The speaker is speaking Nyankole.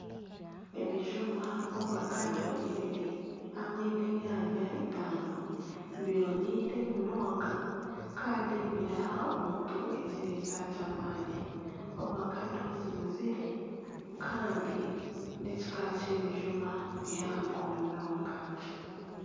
Ebijuma ovakado ibiri hamwe n'enyanya itaano bibonaire munonga kandi nibiha omuntu ekiriisa ky'amaani, ovakado zinuzire kandi n'ekika ky'ebijuma bihango munonga.